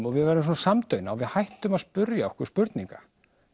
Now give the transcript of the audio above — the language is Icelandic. og við verðum samdauna og hættum að spyrja okkur spurninga